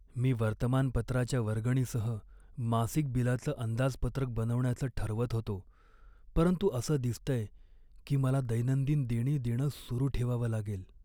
मी वर्तमानपत्राच्या वर्गणीसह मासिक बिलाचं अंदाजपत्रक बनवण्याचं ठरवत होतो, परंतु असं दिसतंय की मला दैनंदिन देणी देणं सुरू ठेवावं लागेल.